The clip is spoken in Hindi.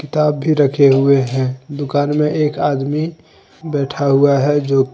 ताब भी रखे हुए हैंदुकान में एक आदमी बैठा हुआ है जो--